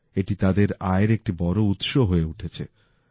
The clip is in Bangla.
এটি তাদের আয়ের একটি বড় উৎস হয়ে উঠছে